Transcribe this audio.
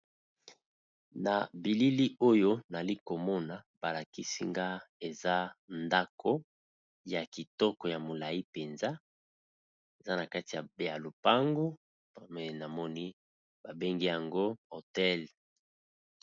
Na bilili oyo nali komona ba lakisi nga eza ndako ya kitoko ya molayi mpenza, eza na kati ya ya lupango pa me namoni ba bengi yango hôtel.